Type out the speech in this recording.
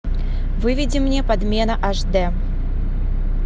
выведи мне подмена аш д